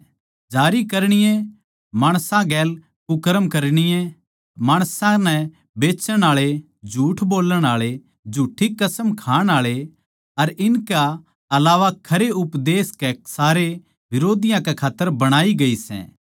जारी करणीये माणसां गेल भुन्डे़ काम करणीये माणस के बेचण आळे झूठ बोल्लण आळे अर झूठ्ठी कसम खाण आळे अर इनकै अलावा खरे उपदेश के सारे बिरोधियाँ कै खात्तर बणाई गई सै